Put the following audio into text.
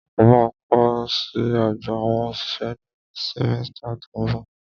Mo ma kó lọ sí ọgbà àwọn òṣìṣẹ́ ní símẹ́stà tó ń bọ̀.